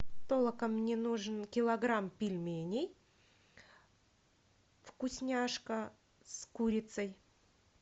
толока мне нужен килограмм пельменей вкусняшка с курицей